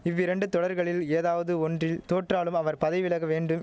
இவ்விரண்டு தொடர்களில் ஏதாவது ஒன்றில் தோற்றாலும் அவர் பதை விலக வேண்டுவ்